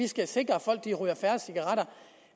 skal sikre at folk ryger færre cigaretter